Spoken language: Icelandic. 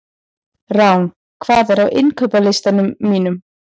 Rán, hvað er á innkaupalistanum mínum?